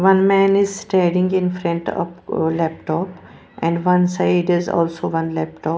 One man is studying in front of laptop and one side is also one laptop.